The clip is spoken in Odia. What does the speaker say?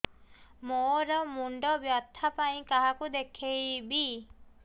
ମୋର ମୁଣ୍ଡ ବ୍ୟଥା ପାଇଁ କାହାକୁ ଦେଖେଇବି